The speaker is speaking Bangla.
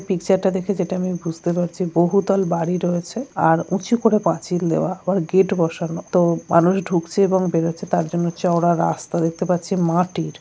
পিকচারটা দেখে যেটা আমি বুঝতে পারছি বহুতল বাড়ি রয়েছে আর উঁচু করে পাচিল দেওয়া আবার গেট বসানো তো-- মানুষ ঢুকছে এবং বেরোচ্ছে তার জন্য চওড়া রাস্তা দেখতে পাচ্ছে মাটির।